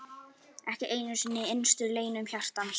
Ekki einu sinni í innstu leynum hjartans!